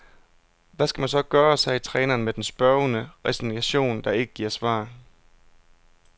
Hvad skal man så gøre, sagde træneren med den spørgende resignation, der ikke giver svar.